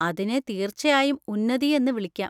അതിനെ തീർച്ചയായും ഉന്നതി എന്ന് വിളിക്കാം.